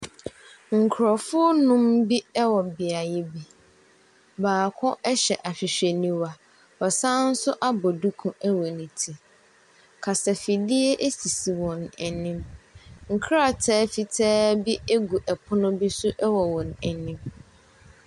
Nkrɔfoɔ anum bi ɛwɔ biayɛ bi. Baako ɛhyɛ ahwehwɛniwa ɔsan so abɔ duku ɛwɔ ne ti. Kasa afidie asisi wɔn anim. Nkrataa fitaa bi agu ɛpono bi so ɛwɔ wɔn anim.